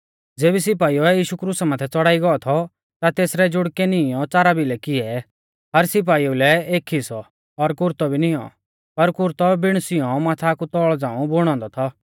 ज़ेबी सिपाइउऐ यीशु क्रुसा माथै च़ौड़ाई गौ थौ ता तेसरै जुड़कै नीईंयौ च़ारा भिलै किऐ हर सिपाइऊ लै एक हिस्सौ और कुरतौ भी निऔं पर कुरतौ बिण सिंऔ माथा कु तौल़ झ़ांऊ बुणौ औन्दौ थौ